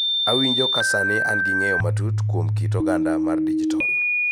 Awinjo ka sani an gi ng�eyo matut kuom kit oganda mar dijitol